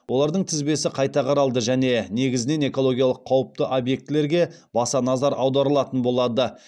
олардың тізбесі қайта қаралды және негізінен экологиялық қауіпті объектілерге баса назар аударылатын болады